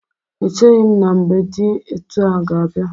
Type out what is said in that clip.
Echeghi m na mgbe dị etu ahụ ga-abịa.